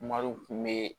Maro kun bɛ